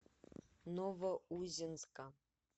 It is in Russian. новоузенска